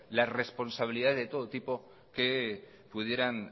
las responsabilidades de todo tipo que pudieran